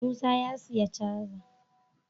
Musa ya siya cajar